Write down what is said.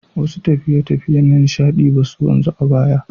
Wasu tafiye-tafiye na nishaɗi ba su wanzu ba a baya.